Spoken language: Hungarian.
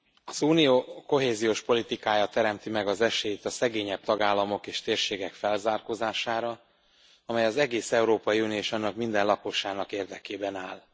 Az Unió kohéziós politikája teremti meg az esélyt a szegényebb tagállamok és térségek felzárkózására, amely az egész Európai Unió és annak minden lakosának érdekében áll.